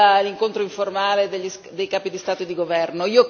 sull'incontro informale dei Capi di Stato e di Governo.